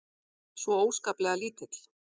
Svo óskaplega lítill.